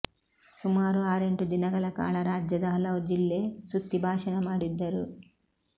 ಸುಮಾರು ಆರೆಂಟು ದಿನಗಳ ಕಾಲ ರಾಜ್ಯದ ಹಲವು ಜಿಲ್ಲೆ ಸುತ್ತಿ ಭಾಷಣ ಮಾಡಿದ್ದರು